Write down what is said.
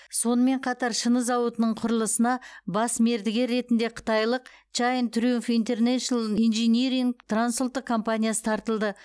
сонымен қатар шыны зауытының құрылысына бас мердігер ретінде қытайлық чайн триумф интернешнл инжиниринг трансұлттық компаниясы тартылды